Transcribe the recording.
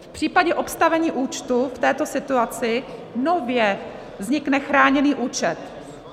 V případě obstavení účtu v této situaci nově vznikne chráněný účet.